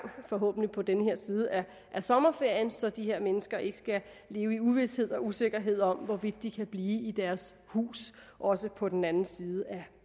forhåbentlig på den her side af sommerferien så de her mennesker ikke skal leve i uvished og usikkerhed om hvorvidt de kan blive i deres hus også på den anden side af